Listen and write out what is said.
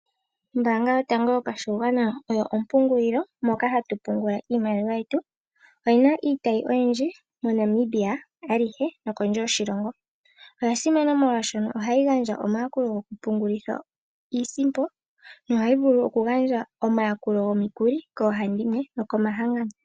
Oombaanga yotango yopashigwana oyo ompungulilo mpoka hatu pungula iimaliwa yetu oyina iitayi oyindji moNamibia alihe nokondje yoshilongo. Oyasimana molwaashono ohayi gandja omayakulo gokupungulitha isimpo no ohayi vulu okugandja omayakulo gomikuli koohandimwe nokomahangano.